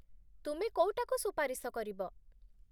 ତୁମେ କୋଉଟାକୁ ସୁପାରିଶ କରିବ?